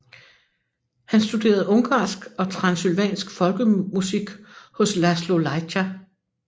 Han studerede ungarsk og transylvansk folkemusik hos Laszlo Lajtha